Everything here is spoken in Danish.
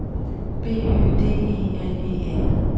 B Y D E L E N